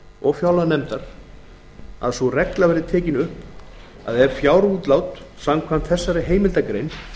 og fjárlaganefndar að sú regla verði tekin upp að ef fjárútlát samkvæmt þessari heimildargrein